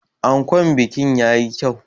Ankon bikin ya yi kyau.